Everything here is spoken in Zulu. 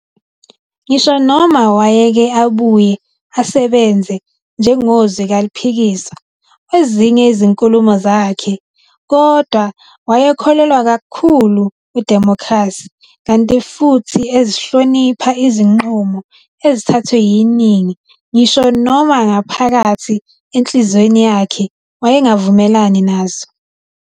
Ngisho noma wayeke abuye asebenze njengozwi kaliphikiswa, kwezinye izinkulumo zakhe, kodwa wayekholelwa kakhulu kwidimokhrasi kanti futhi ezihlonipha izinqumo ezithathwe yiningi ngisho noma ngaphakathi enhliziyweni yakhe wayengavumelani nazo